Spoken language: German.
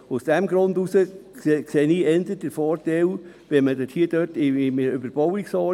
Aus diesem Grund sehe ich eher den Vorteil einer Überbauungsordnung.